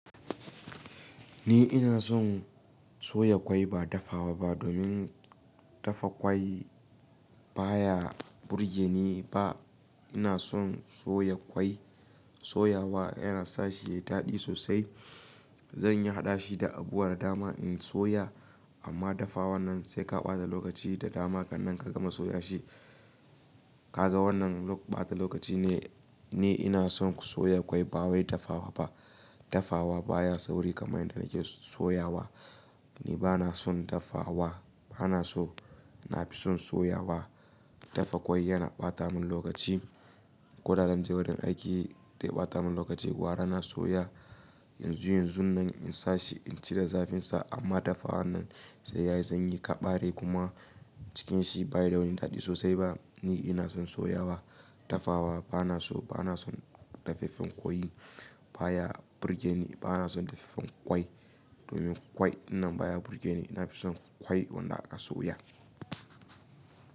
Ni ina son soya ƙwai ba dafawa ba domin dafa ƙwai ba ya burge ni ba. Ina son soya ƙwai. Soyawa yana sa shi yayi daɗi sosai. Zanyi haɗashi da abuwar dama in soya amma dafawa wannan sai ka ɓata lokaci da dama kan nan ka gama soya shi. Ka ga wannan ɓata lokaci ne. Ni ina son soya ƙwai ba wai dafawa ba. Dafawa baya sauri kamar yadda nake soyawa. Ni bana son dafawa, bana so. Na fi son soyawa. Dafa ƙwai yana ɓata mun lokaci. Koda zan je wurin aiki zai ɓata mun lokaci. Gwara na soya yanzu yanzun nan in sa shi in cire zafin sa amma dafawa wannan sai yayi sanyi ka ɓare kuma cikin shi bayi da wani daɗi sosai ba. Ni ina son soyawa. Dafawa bana so, bana son dafeffen ƙoyi baya burge ni. Bana son dafeffen ƙwai domin ƙwai nan baya burge ni. Na fi son ƙwai wanda aka soya.